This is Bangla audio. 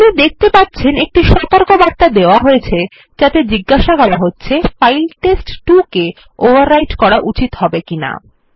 আপনি দেখতে পারছেন একটি সতর্কবার্তা দেওয়া হয়েছে যাতে জিজ্ঞাসা করা হচ্ছে ফাইল test2কে ওভাররাইট করা উচিত হবে কী হবে না